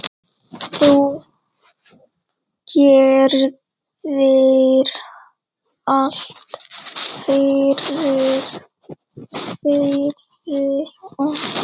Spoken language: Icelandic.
Þú gerðir allt fyrir okkur.